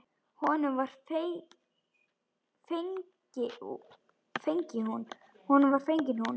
Honum var fengin hún.